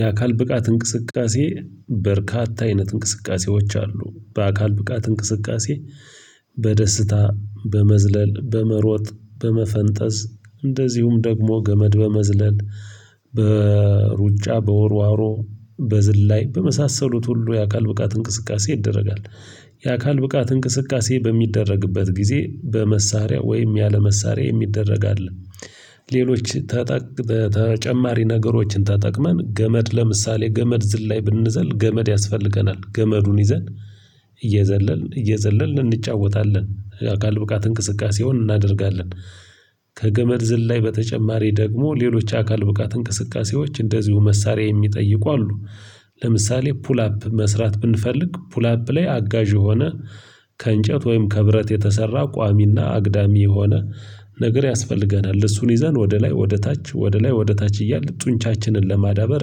የአካል ብቃት እንቅስቃሴ በርካታ አይነት እንቅስቃሴዎች አሉ። በአካል ብቃት እንቅስቃሴ በደስታ በመዝለል በመሮጥ በመፈንጠዝ እንደዚሁም ደግሞ ገመድ በመዝለል በሩጫ በውርዋሮ በዝላይ በመሳሰሉት ሁሉ የአካል ብቃት እንቅስቃሴ ይደረጋል። የአካል ብቃት እንቅስቃሴ በሚደረግበት ጊዜ በመሳሪያ ወይም ያለመሳሪያ መሳሪያ የሚደረግ አለ። ሌሎች ተጠቅመን ተጨማሪ ነገሮችን ተጠቅመን ገመድ ለምሳሌ ገመድ ዝልላይ ብንዘል ገመድ ያስፈልገናል ገመዱን ይዘን እየዘለልን እየዘለልን እንጫወታለን የአካል ብቃት እንቅስቃሴውን እናደርጋለን። ከገመድ ዝላይ በተጨማሪ ደግሞ ሌሎች አካል ብቃት እንቅስቃሴዎች እንደዚሁ መሳሪያ የሚጠይቁ አሉ። ለምሳሌ ፑል አፕ መስራት ብንፈልግ ፑላፕ ላይ አጋዥ የሆነ ከእንጨት ወይም ከብረት የተሰራ ቋሚና አግዳሚ የሆነ ነገር ያስፈልገናል እሱን ይዘን ወደ ላይ ወደ ታች ወደ ላይ ወደ ታች እያልን ጡንቻችንን ለማዳበር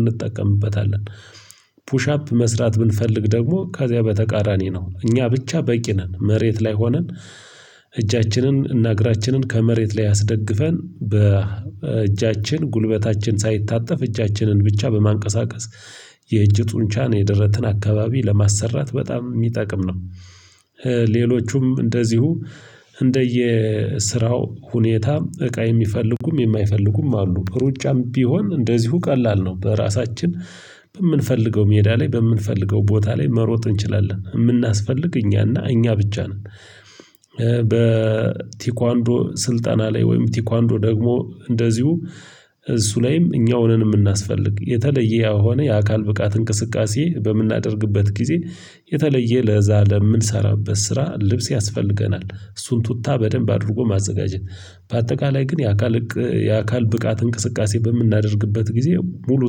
እንጠቀምበታለን። ፑሽ አፕ መስራት ብንፈልግ ደግሞ ከዚያ በተቃራኒ ነው እኛ ብቻ በቂ ነን መሬት ላይ ሆነን እጃችንን እና እግራችንን ከመሬት ላይ አስደግፈን በእጃችን ጉልበታችን ሳይታጠፍ እጃችንን ብቻ በማንቀሳቀስ የእጅ ጡንቻን የደረትን አካባቢ ለማሰራት በጣም የሚጠቅም ነው። ሌሎቹም እንደዚሁ እንደየ ስራው ሁኔታ እቃ የሚፈልጉም የማይፈልጉም አሉ። ሩጫም ቢሆን እንደዚሁ ቀላል ነው በራሳችን በምንፈልገው ሜዳ ላይ በምንፈልገው ቦታ ላይ መሮጥ እንችላለን የምናስፈልግ እኛና እኛ ብቻ ነን። በቴኳንዶ ስልጠና ላይ ወይም ቴኳንዶ ደግሞ እንደዚሁ እሱ ላይም እኛውንን የምናስፈልግ የተለየ የሆነ የአካል ብቃት እንቅስቃሴ በምናደርግበት ጊዜ የተለየ ለዛ ለምንሰራበት ስራ ልብስ ያስፈልገናል። እሱን ቱታ በደንብ አድርጎ ማዘጋጀት በአጠቃላይ ግን የአካል የአካል ብቃት እንቅስቃሴ በምናደርግበት ጊዜ ሙሉ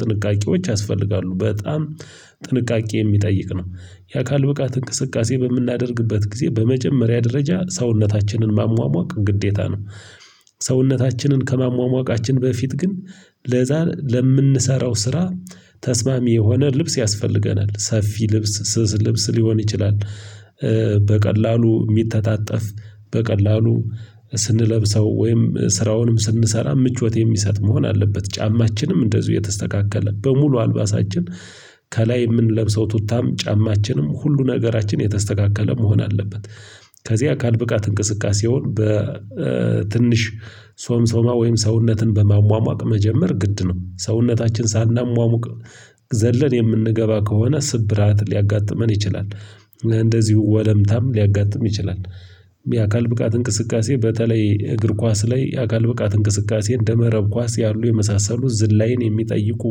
ጥንቃቄዎች ያስፈልጋሉ በጣም ጥንቃቄ የሚጠይቅ ነው። የአካል ብቃት እንቅስቃሴ በምናደርግበት ጊዜ በመጀመሪያ ደረጃ ሰውነታችንን ማሟሟቅ ግዴታ ነው። ሰውነታችንን ከማሟሟቃችን በፊት ግን ለዛ ለምንሰራው ስራ ተስማሚ የሆነ ልብስ ያስፈልገናል ሰፊ ልብስ ስስ ልብስ ሊሆን ይችላል። በቀላሉ የሚተጣጠፍ በቀላሉ ስንለብሰው ወይም ስራውንም ስንሰራ ምቾት የሚሰጥ መሆን አለበት። ጫማችንም እንደዚሁ የተስተካከለ በሙሉ አልባሳችን ከላይ የምንለብሰው ቱታም ጫማችንም ሁሉ ነገራችን የተስተካከለ መሆን አለበት። ከዚያ የአካል ብቃት እንቅስቃሴውን በትንሽ ሶምሶማ ወይም ሰውነትን በማሟሟቅ መጀመር ግድ ነው። ሰውነታችን ሳናሟሙቅ ዘለን የምንገባ ከሆነ ስብራት ሊያጋጥመን ይችላል። እንደዚሁ ወለምታም ሊያጋጥም ይችላል። የአካል ብቃት እንቅስቃሴ በተለይ እግር ኳስ ላይ የአካል ብቃት እንቅስቃሴ እንደ መረብ ኳስ ያሉ የመሳሰሉ ዝላይን የሚጠይቁ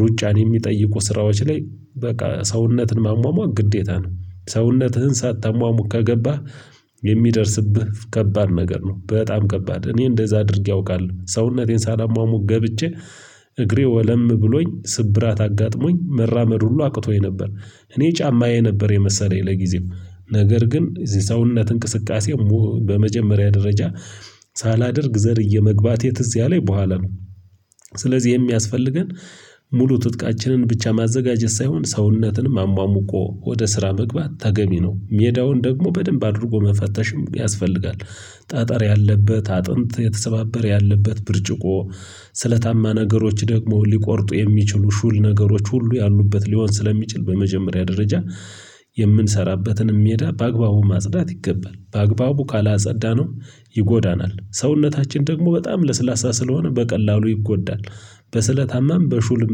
ሩጫን የሚጠይቁ ስራዎች ላይ በቃ ሰውነትን ማሟሟቅ ግዴታ ነው። ሰውነትህን ሳታማሙቅ ከገባህ የሚደርስብህ ከባድ ነገር ነው በጣም ከባድ እኔ እንደዛ አድርጌ አውቃለሁ ሰውነቴን ሳላማሙቅ ገብቼ እግሬ ወለም ብሎኝ ስብራት አጋጥሞኝ መራመድ ሁሉ አቅቶኝ ነበር። እኔ ጫማዬ ነበር የመሰለኝ ለጊዜው ነገር ግን ሰውነት እንቅስቃሴ በመጀመሪያ ደረጃ ሳላደርግ ዘልዬ መግባቴ ትዝ ያለኝ በኋላ ነው። ስለዚህ የሚያስፈልገን ሙሉ ትጥቃችንን ብቻ ማዘጋጀት ሳይሆን ሰውነትንም አሟሙቆ ወደ ስራ መግባት ተገቢ ነው። ሜዳውን ደግሞ በደንብ አድርጎ መፈተሽም ያስፈልጋል። ጠጠር ያለበት አጥንት የተሰባበር ያለበት ብርጭቆ ስለታማ ነገሮች ደግሞ ሊቆርጡ የሚችሉ ሹል ነገሮች ሁሉ ያሉበት ሊሆን ስለሚችል በመጀመሪያ ደረጃ የምንሰራበትን ሜዳ በአግባቡ ማጽዳት ይገባል። በአግባቡ ካላጸዳነው ይጎዳናል። ሰውነታችን ደግሞ በጣም ለስላሳ ስለሆነ በቀላሉ ይጎዳል። በስለታማም በሹልም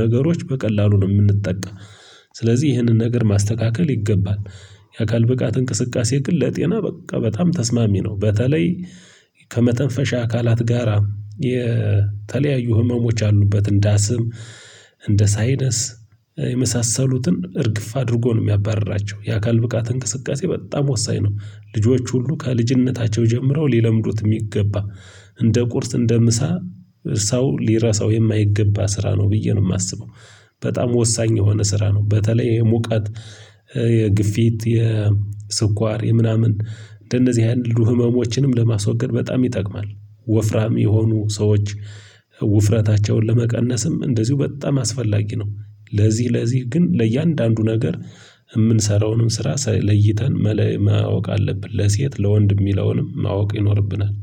ነገሮች በቀላሉ ነው የምንጠቃ። ስለዚህ ይህንን ነገር ማስተካከል ይገባል። የአካል ብቃት እንቅስቃሴ ግን ለጤና በቃ በጣም ተስማሚ ነው። በተለይ ከመተንፈሻ አካላት ጋራ የተለያዩ ህመሞች አሉበት እንደ አስም። እንደ ሳይነስ የመሳሰሉትን እርግፍ አድርጎ ነው የሚያባርራቸው። የአካል ብቃት እንቅስቃሴ በጣም ወሳኝ ነው። ልጆች ሁሉ ከልጅነታቸው ጀምረው ሊለምዱት የሚገባ እንደ ቁርስ እንደ ምሳ ሰው ሊረሳው የማይገባ ስራ ነው ብዬ ነው የማስበው። በጣም ወሳኝ የሆነ ስራ ነው በተለይ የሙቀት የግፊት የስኳር የምናምን እንደእነዚህ ያሉ ህመሞችንም ለማስወገድ በጣም ይጠቅማል። ወፍራም የሆኑ ሰዎች ውፍረታቸውን ለመቀነስም እንደዚሁ በጣም አስፈላጊ ነው። ለዚህ ለዚህ ግን ለእያንዳንዱ ነገር የምንሰራውንም ስራ ለይተን ማወቅ አለብን ለሴት ለወንድ የሚለውንም ማወቅ ይኖርብናል